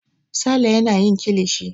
Sale yana yin kilishi.